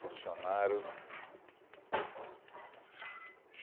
Funcionário.